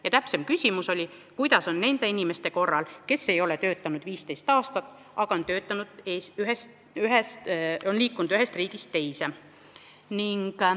Tema täpsem küsimus oli, kuidas on nende inimestega, kes ei ole töötanud 15 aastat, aga on liikunud ühest riigist teise.